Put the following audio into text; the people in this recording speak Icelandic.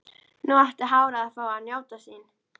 Nú átti hárið að fá að njóta sín.